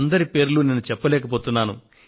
అందరి పేర్లు నేను చెప్పలేకపోతున్నాను